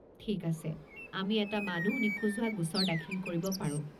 ঠিক আছে, আমি এটা মানুহ নিখোজ হোৱা গোচৰ দাখিল কৰি পাৰো।